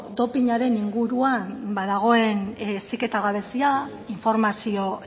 dopinaren inguruan ba dagoen heziketa gabezia informazio